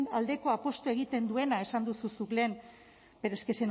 aldeko apustua egiten duena esan duzu zuk lehen pero es que